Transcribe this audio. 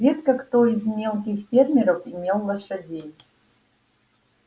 редко кто из мелких фермеров имел лошадей